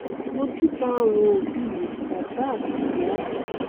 mojúbà àwọn òbí mi bàbá àti ìyá mi